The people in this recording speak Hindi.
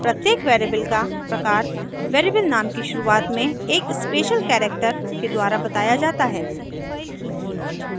प्रत्येक वेरिएबल का प्रकार वेरिएबल नाम की शुरुआत में एक स्पेशल करैक्टर के द्वारा बताया जाता है